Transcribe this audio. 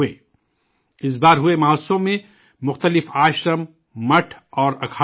اس بار ہوئے مہوتسو میں مختلف آشرم، مٹھ اور اکھاڑے بھی شامل تھے